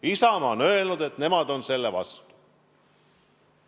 Isamaa on öelnud, et nemad on selle vastu.